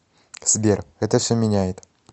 сбер это все меняет